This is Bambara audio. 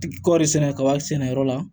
Kɔɔri sɛnɛ kaba sɛnɛyɔrɔ la